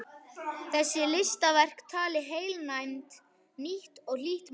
Þessi listaverk tali heilnæmt, nýtt og hlýtt mál.